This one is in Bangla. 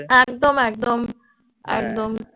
একদম একদম একদম